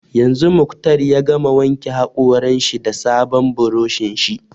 Yanzu Muktar ya gama wanke haƙoran shi da sabon buroshin shi